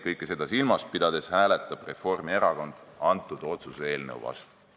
Kõike seda silmas pidades hääletab Reformierakond selle otsuse eelnõu vastu.